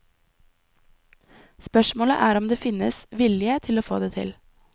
Spørsmålet er om det finnes vilje til å få det til.